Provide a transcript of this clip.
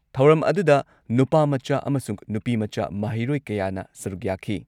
ꯊꯧꯔꯝ ꯑꯗꯨꯗ ꯅꯨꯄꯥꯃꯆꯥ ꯑꯃꯁꯨꯡ ꯅꯨꯄꯤꯃꯆꯥ ꯃꯍꯩꯔꯣꯏ ꯀꯌꯥꯅ ꯁꯔꯨꯛ ꯌꯥꯈꯤ ꯫